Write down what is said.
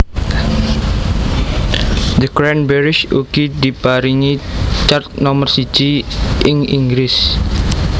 The Cranberries ugi diparingi chart nomor siji ing Inggris